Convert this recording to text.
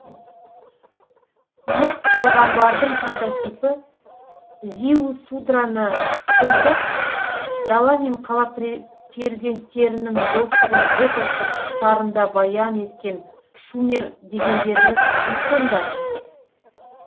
нұх пайғамбардың прототипі зиусудраны сомдап дала мен қала перзенттерінің достығын эпостық сарында баян еткен шумер дегендеріміз кім сонда